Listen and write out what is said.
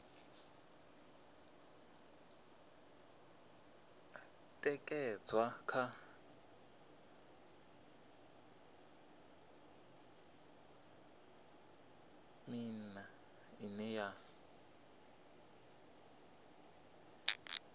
ṅekedzwa kha miṱa ine ya